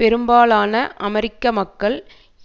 பெரும்பாலான அமெரிக்க மக்கள்